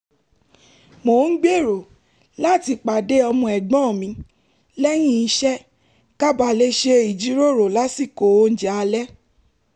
mò ń gbèrò láti pàdé ọmọ ẹ̀gbọ́n mi lẹ́yìn iṣẹ́ ka ba lè ṣe ìjíròrò lásìkò oúnjẹ alẹ́